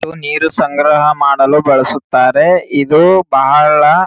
ನೀರು ಸಂಗ್ರಹ ಮಾಡಲು ಬಳಸುತ್ತಾರೆ ಇದು ಬಹಳ್.